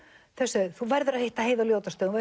sögðu þú verður að hitta Heiðu á Ljótarstöðum